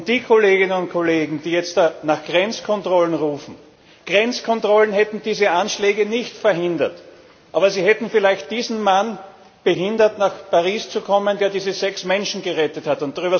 Den Kolleginnen und Kollegen, die jetzt nach Grenzkontrollen rufen, sei gesagt Grenzkontrollen hätten diese Anschläge nicht verhindert, aber sie hätten vielleicht diesen Mann daran gehindert, nach Paris zu kommen, der diese sechs Menschen gerettet hat.